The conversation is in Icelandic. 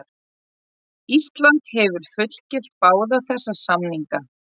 Ísland hefur fullgilt báða þessa samninga.